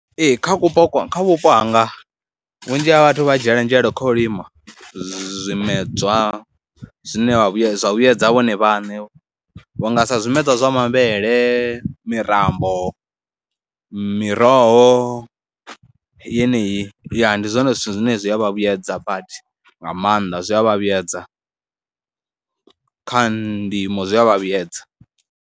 Ee kha vhupo, kha vhupo hanga vhunzhi ha vhathu vha dzhiela nzhele kha u lima zwimedzwa zwine vha vhuyedza vhuyedza vhone vhane vha nga sa zwimedzwa zwa mavhele, mirambo. miroho yeneyi ya, ndi zwone zwithu zwine zwi a vha vhuyedza badi nga maanḓa, zwi a vha vhuyedza kha ndimo zwi a vha vhuyedza.